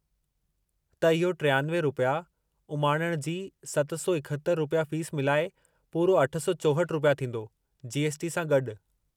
त इहो 93 रुपया + उमाणणु जी 771 रुपया फ़ीस मिलाए पूरो 864 रुपया थींदो, जी. एस. टी. सां गॾु।